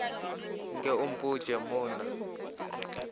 nke o mpotše mo na